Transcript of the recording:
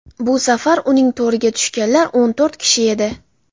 Bu safar uning to‘riga tushganlar o‘n to‘rt kishi edi.